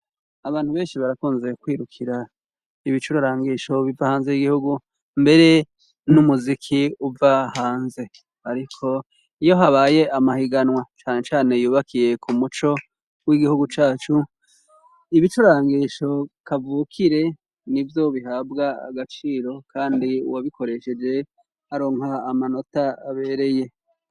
Abantu benshi barakunze kwirukira ibicurarangisho biva hanze y'igihugu mbere n'umuziki uva hanze, ariko iyo habaye amahiganwa cane cane yubakiye ku muco w'igihugu cacu ,ibicurangisho kavukire nibyo bihabwa agaciro kandi uwabikoresheje aronka amanota abereye.